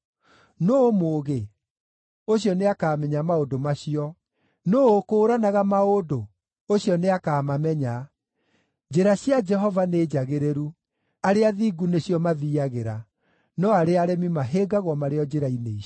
Nũũ mũũgĩ? Ũcio nĩakamenya maũndũ macio. Nũũ ũkũũranaga maũndũ? Ũcio nĩakamamenya. Njĩra cia Jehova nĩ njagĩrĩru; arĩa athingu nĩcio mathiiagĩra, no arĩa aremi mahĩngagwo marĩ o njĩra-inĩ icio.